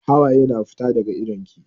Hawaye na fita daga idon ki.